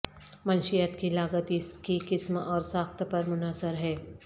منشیات کی لاگت اس کی قسم اور ساخت پر منحصر ہے